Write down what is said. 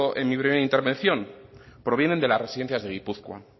en mi primera intervención provienen de las residencias de gipuzkoa